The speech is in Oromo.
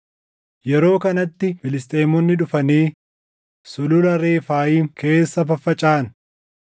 Yeroo kanatti Filisxeemonni dhufanii Sulula Refaayim keessa faffacaʼan;